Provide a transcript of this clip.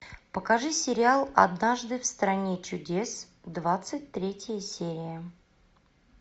покажи сериал однажды в стране чудес двадцать третья серия